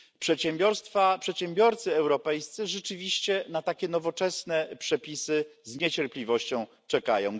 Przedsiębiorcy europejscy rzeczywiście na takie nowoczesne przepisy z niecierpliwością czekają.